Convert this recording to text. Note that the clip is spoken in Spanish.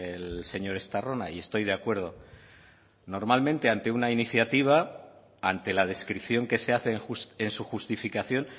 el señor estarrona y estoy de acuerdo normalmente ante una iniciativa ante la descripción que se hace en su justificación